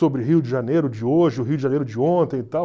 Sobre Rio de Janeiro de hoje, o Rio de Janeiro de ontem e tal.